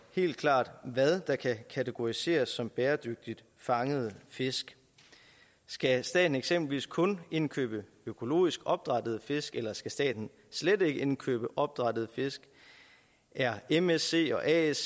helt klart hvad der kan kategoriseres som bæredygtigt fanget fisk skal staten eksempelvis kun indkøbe økologisk opdrættede fisk eller skal staten slet ikke indkøbe opdrættede fisk er msc og asc